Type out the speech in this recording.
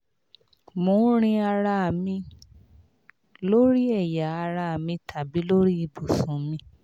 mo ń rin ara mi lórí ẹ̀yà ara mi tàbí lórí ibùsùn mi